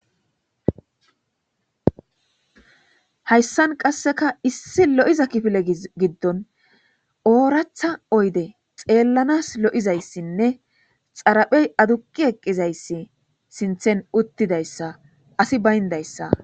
Hayssan qasseka issi lo7iza kifile giddon ooratha oyde xeellanas lo7izayssinne xaraphey aduqi eqqizayssi sinthen uttidayssa asi bayndayssa.